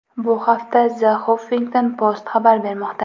Bu haqda The Huffington Post xabar bermoqda .